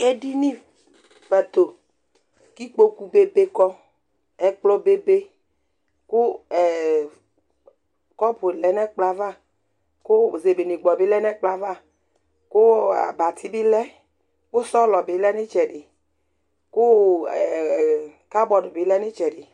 éɖiŋi pɑtõ kikpọkʊ bébékɔ ɛkplɔbébé ƙũ ɛɛ kɔpũté ɲɛkplọɑvɑ kʊ zébɛɲégbọ bi lé ŋɛkplɔɑvɑ kʊ ɑbɑtibilɛ kʊ ṣɔlɔbilɛ ɲtsɛɖi kụ ɛɛkɑbọɖ bilɛɲitsɛɗi